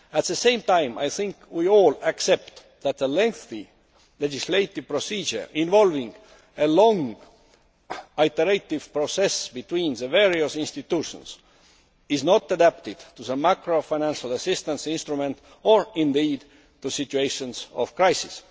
At the same time, I think we all accept that a lengthy legislative procedure involving a long iterative process between the various institutions is not adapted to the macro financial assistance instrument or, indeed, to situations of crisis.